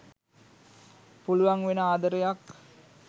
පුළුවන් වෙන ආදරයක්